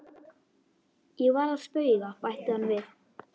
Ég var að spauga, bætti hann við.